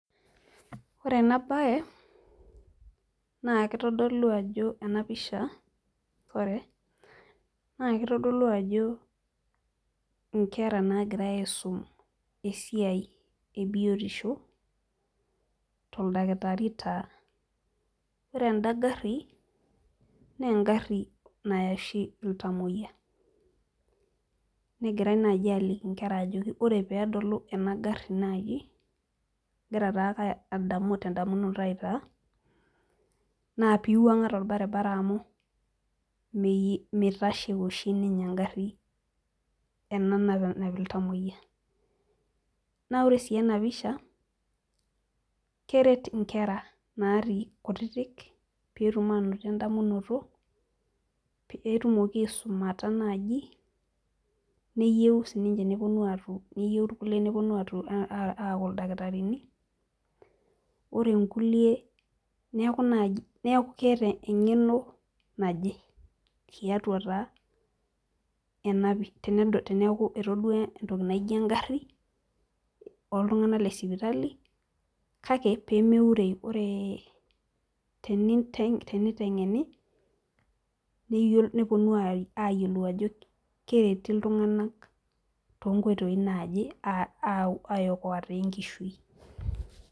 Ore ena bae naa kitodolu ajo ena pisha, naa kitodolu nkera naagira aisum esiai e biotisho, toldakitari taa ore eda gari naa egari Naya oshi iltamoyia. negirae naaji aliki nkera ajo ore pee edolu ena gari naaji agira take adamu tedamunoto aai taa, naa pee iwuanga tolbaribara amu mitashe oshi ninye ena gari. ena nanap iltamoyia. naa ore sii ena pisha keret nkera natii kutitik, pee tum aanoto edamunoto pee etum aisumata naaji meyieu sii irkulie nepuonu aaku ildakitarini ore irkulie neeku naaji keeta engeno naje tiatua taa teneeku etodua entoki naijo egari. ooltunganak le sipitali kake pee meureyu. ore tenitengeni nepuonu aayiolou ajo kereti iltunganak too nkoitoi naaje aa okoa taa enkishui.